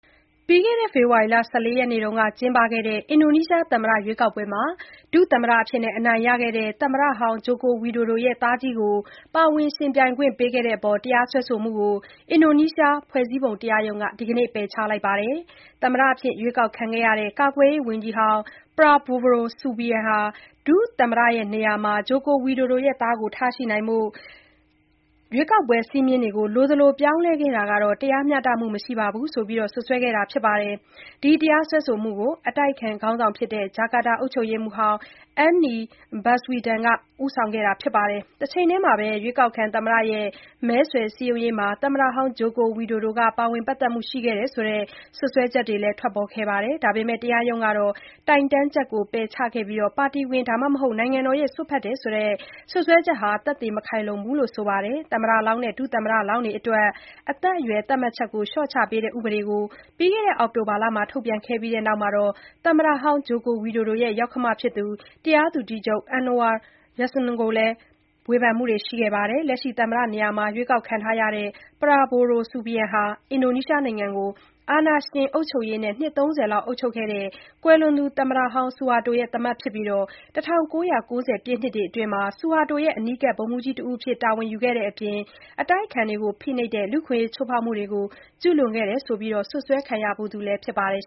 ပြီးခဲ့တဲ့ ဖေဖော်ဝါရီလ ၁၄ ရက်က လုပ်ခဲ့တဲ့ အင်ဒိုနီးရှား သမ္မတရွေးကောက်ပွဲမှာ ဒုသမ္မတအဖြစ်အနိုင်ရခဲ့တဲ့ သမ္မတ Joko Widodo ရဲ့ သားကြီးဖြစ်သူကို ပါဝင်ယှဉ်ပြိုင်ခွင့်ပေးခဲ့တဲ့အပေါ် တရားစွဲဆိုမှုကို အင်ဒိုနီးရှား ဖွဲ့စည်းပုံတရားရုံးက ဒီကနေ့ ပယ်ချလိုက်ပါတယ်။ သမ္မတအဖြစ် ရွေးကောက်ခံရတဲ့ ကာကွယ်ရေးဝန်ကြီး Prabowo Subianto က ဒုသမ္မတနေရာမှာ Joko Widodo ရဲ့ သားကို ထားရှိနိုင်ဖို့ ရွေးကောက်ပွဲ စည်းမျဉ်းတွေကို လိုသလိုပြောင်းလဲခဲ့တာဟာ တရားမျှတမှုမရှိဘူးဆိုပြီး စွပ်စွဲထားတာပါ။ ဒီတရားစွဲဆိုမှုကို အတိုက်အခံခေါင်းဆောင်ဖြစ်တဲ့ ဂျာကာတာအုပ်ချုပ်ရေးမှူးဟောင်း Anies Baswedan က ဦးဆောင်ခဲ့တာဖြစ်ပါတယ်။ တချိန်တည်းမှာလည်း ရွေးကောက်ခံသမ္မတရဲ့ မဲဆွယ်စည်းရုံးရေးမှာ သမ္မတ Joko Widodo က ပါဝင် ပတ်သက်မှုတွေရှိခဲ့တယ်ဆိုတဲ့ စွတ်စွဲချက်တွေလည်း ထွက်ပေါ်ခဲ့ပါတယ်။ ဒါပေမယ့် တရားရုံးက သူ့ရဲ့ တိုင်တန်းချက်ကို ပယ်ချခဲ့ပြီး ပါတီဝင် သို့မဟုတ် နိုင်ငံတော်ရဲ့ စွက်ဖက်တယ်ဆိုတဲ့စွပ်စွဲချက်မှာ သက်သေ မခိုင်လုံဘူးလို့ ဆိုပါတယ်။ သမ္မတလောင်းနဲ့ ဒုသမ္မတလောင်းတွေအတွက် အသက်အရွယ်သတ်မှတ်ချက်တွေကို လျှော့ချပေးတဲ့ ဥပဒေကို ပြီးတဲ့ အောက်တိုဘာလတုန်းက ထုတ်ပြန်ပြီးနောက် သမ္မတဟောင်း Joko Widodo ရဲ့ ယောက္ခမဖြစ်သူ တရားသူကြီးချုပ် Anwar Usman ကိုလည်း ဝေဖန်မှုတွေ ရှိခဲ့ပါတယ်။ လက်ရှိသမ္မတနေရာ ရွေးကောက်ခံရတဲ့ Prabowo Subianto ဟာ အင်ဒိုနီးရှားနိုင်ငံကို အာဏာရှင်အုပ်ချုပ်ရေးနဲ့ နှစ် ၃၀လောက် အုပ်ချုပ်ခဲ့တဲ့ ကွယ်လွန်သူ သမ္မတဟောင်း ဆူဟာတိုရဲ့ သားမက်ဖြစ်ပြီး ၁၉၉၀ ပြည့်နှစ်တွေအတွင်းက ဆူဟာတိုရဲ့ အနီးကပ် ဗိုလ်မှူးကြီး တဦးအဖြစ် တာဝန်ယူခဲ့တဲ့အပြင် အတိုက်အခံတွေကို ဖိနှိပ်တဲ့ လူ့အခွင့်အရေးချိုးဖေါက်မှုတွေ ကျုးလွန်ခဲ့တယ်ဆိုပြီး စွပ်စွဲ ခံခဲ့ရဖူးသူလည်း ဖြစ်ပါတယ်